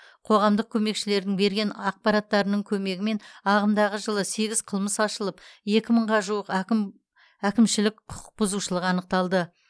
қоғамдық көмекшілердің берген ақпараттарының көмегімен ағымдағы жылы сегіз қылмыс ашылып екі мыңға жуық әкім әкімшілік құқықбұзушылық анықталды